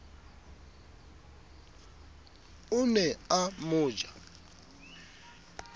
o ne a mo ja